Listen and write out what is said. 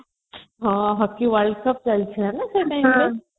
ହଁ hocky world cup ଚାଲିଥିଲା ନା ସେଇ time ରେ